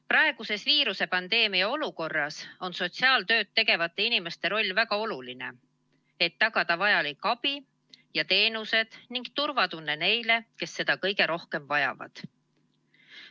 Praeguses viirusepandeemia olukorras on sotsiaaltööd tegevate inimeste roll väga oluline, et tagada vajaliku abi ja teenuste kättesaadavus ning turvatunne neile, kes seda kõige rohkem vajavad.